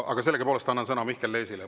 Aga sellegipoolest annan sõna Mihkel Leesile.